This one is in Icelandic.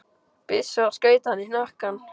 byssu og skaut hann í hnakkann.